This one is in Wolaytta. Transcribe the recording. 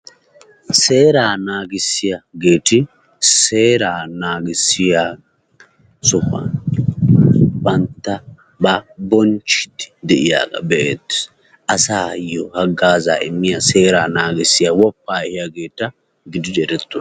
Seeraa naagissiyageeti seeraa naagissiyo sohuwan banttabaa bonchchiiddi de'iyagaa be'eettees. Asaayyo haggaazaa immiya seeraa naagissiya woppaa ihiyageeta gididi erettoosona.